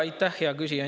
Aitäh, hea küsija!